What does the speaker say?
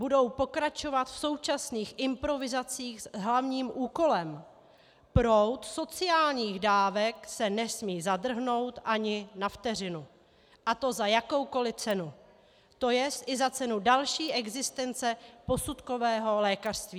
Budou pokračovat v současných improvizacích s hlavním úkolem - proud sociálních dávek se nesmí zadrhnout ani na vteřinu, a to za jakoukoli cenu, to jest i za cenu další existence posudkového lékařství.